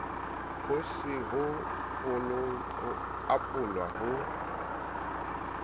ho se ho apolwa ho